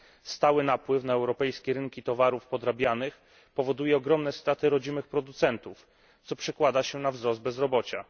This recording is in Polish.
Stały napływ na europejskie rynki towarów podrabianych, powoduje ogromne straty rodzimych producentów, co przekłada się na wzrost bezrobocia.